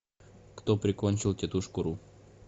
кто прикончил тетушку ру